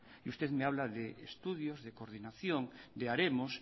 y usted me habla de estudios de coordinación de haremos